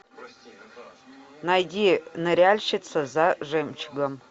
найди ныряльщица за жемчугом